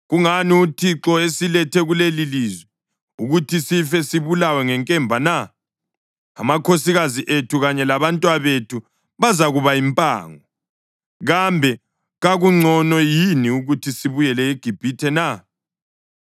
Kungani uThixo esilethe kulelilizwe ukuthi sife sibulawa ngenkemba na? Amakhosikazi ethu kanye labantwabethu bazakuba yimpango. Kambe kakungcono yini ukuthi sibuyele eGibhithe na?”